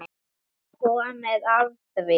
Það er komið að því.